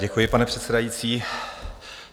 Děkuji, pane předsedající.